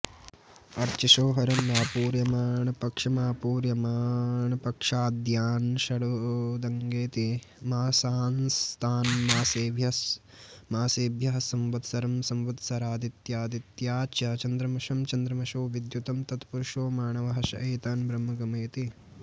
अर्चिषोहरह्न आपूर्यमाणपक्षमापूर्यमाणपक्षाद्यान्षडुदङ्डेति मासांस्तान्मासेभ्यः संवत्सरं संवत्सरादादित्यमादित्याच्चन्द्रमसं चन्द्रमसो विद्युतं तत्पुरुषोऽमाणवः स एतान् ब्रह्म गमयति